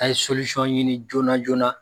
A ye solisɔn ɲini joona joona.